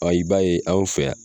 Wa i b'a ye aw fɛ yan